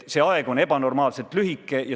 See aeg on ebanormaalselt lühike.